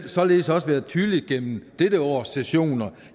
således også været tydeligt gennem dette års sessioner